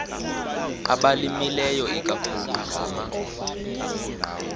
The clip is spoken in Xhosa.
abalimileyo ikakhulu ngama